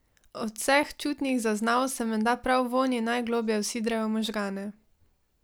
Od vseh čutnih zaznav se menda prav vonji najgloblje vsidrajo v možgane.